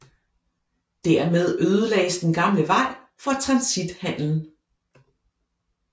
Dermed ødelagdes den gamle vej for transithandelen